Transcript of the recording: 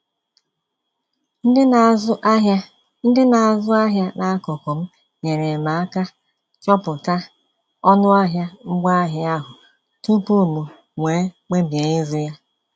Ndị na-azụ ahịa Ndị na-azụ ahịa n'akụkụ m nyeere m aka chọpụta ọnụahịa ngwaahịa ahụ tupu m nwee mkpebi ịzụ ya